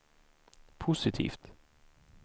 positivt